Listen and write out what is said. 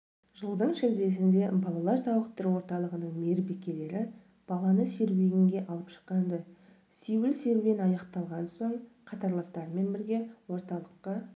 жылдың шілдесінде балалар сауықтыру орталығының мейірбикелері баланы серуенге алып шыққан-ды сеуіл-серуен аяқталған соң қатарластарымен бірге орталыққа